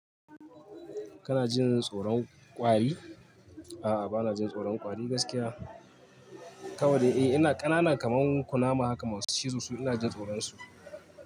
Kana jin tsoron kwari? A'a bana jin tsoron kwari gaskiya. Kawai dai eh ina ƙanana kaman kunama haka masu ciro su ina jin tsoron su.